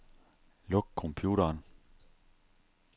Luk computeren.